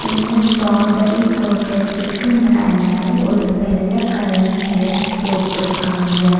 இந்த ஸ்ட்டாபெரி தோட்டத்துக்கு மேல ஒரு வெள்ள கலர் நெட் போட்ருக்காங்க.